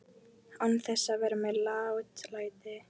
Án þess að vera með látalæti.